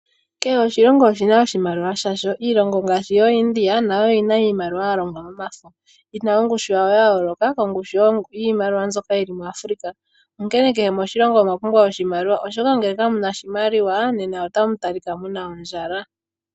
Kehe oshilongo oshina iimaliwa yasho. Iilongo ngaashi yooIndia nayo oyina iimaliwa yalongwa momafo yina ongushu yawo ya yooloka kongushu yiimaliwa mbyoka yili muAfrica. Ano kehe moshilongo osha pumbwa oshimaliwa, oshoka ngele kamuna oshimaliwa otamu talikwa ko muna ondjala.